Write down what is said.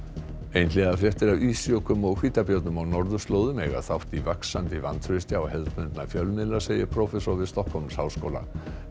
einhliða fréttir af ísjökum og hvítabjörnum á norðurslóðum eiga þátt í vaxandi vantrausti á hefðbundna fjölmiðla segir prófessor við Stokkhólmsháskóla